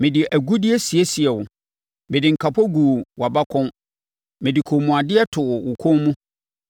Mede agudeɛ siesiee wo. Mede nkapo guu wʼabakɔn, mede kɔnmuadeɛ too wo kɔn mu,